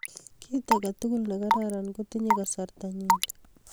Kit agetugul ne kararan kotinye kasarta nyii.